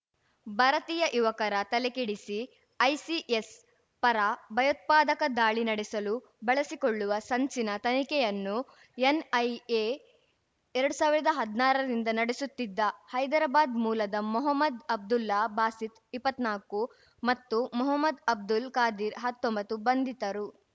ಭಾರತೀಯ ಯುವಕರ ತಲೆಕೆಡಿಸಿ ಐಸಿಸ್‌ ಪರ ಭಯೋತ್ಪಾದಕ ದಾಳಿ ನಡೆಸಲು ಬಳಸಿಕೊಳ್ಳುವ ಸಂಚಿನ ತನಿಖೆಯನ್ನು ಎನ್‌ಐಎ ಎರಡ್ ಸಾವಿರ್ದಾ ಹದ್ನಾರರಿಂದ ನಡೆಸುತ್ತಿದ್ದ ಹೈದರಾಬಾದ್‌ ಮೂಲದ ಮೊಹಮ್ಮದ್‌ ಅಬ್ದುಲ್ಲಾ ಬಾಸಿತ್‌ ಇಪ್ಪತ್ನಾಕು ಮತ್ತು ಮೊಹದ್‌ ಅಬ್ದುಲ್‌ ಖಾದಿರ್‌ ಹತ್ತೊಂಬತ್ತು ಬಂಧಿತರು